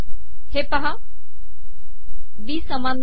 हे पहा बी समान नाही